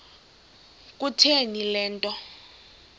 kutheni le nto